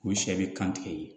O sɛ bɛ kan tigɛ ye